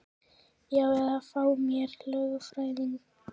Já eða að fá mér lögfræðing.